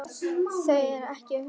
Ég þekki Eddu mjög vel.